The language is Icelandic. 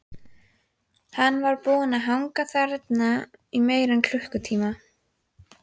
Hann var búinn að hanga þarna í meira en klukkutíma.